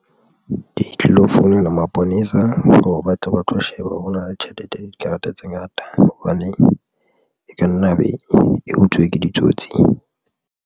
Di tlilo founela maponesa hore ba tle ba tlo sheba hore tjhelete dikarata tse ngata. Hobane e ka nna ya be e utsuwe ke ditsotsi.